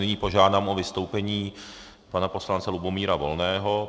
Nyní požádám o vystoupení pana poslance Lubomíra Volného.